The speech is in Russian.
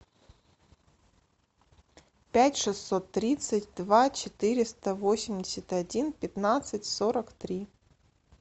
пять шестьсот тридцать два четыреста восемьдесят один пятнадцать сорок три